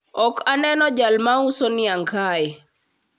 ok aneno jal mauso niang kae